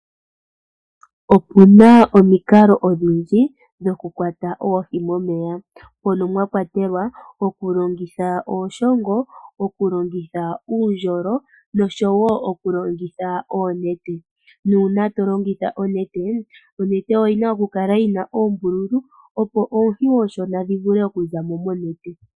Opuna omikalo odhindji dhoku kwata oohi momeya mono mwa kwatelwa okulongitha ooshongo, okulongitha uundjolo nosho wo okulongitha oonete. Nuuna to longitha onete, onete oyi na okukala yi na oombululu opo oohi oonshona dhi vule oku zamo monete.